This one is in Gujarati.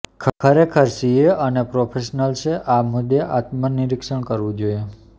ખરેખર સીએ અને પ્રોફેશનલ્સે આ મુદ્દે આત્મ નિરીક્ષણ કરવું જોઈએ